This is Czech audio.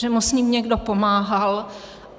Že mu s ním někdo pomáhal.